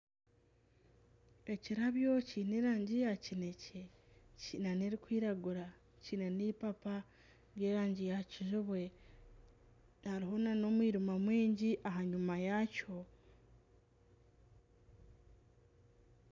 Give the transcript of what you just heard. Ekirabyo kiine erangi ya kinekye kiine n'erikwiragura kiine n'eipapa ry'erangi ya kijubwe hariho nana omwirima mwingi aha nyima yakyo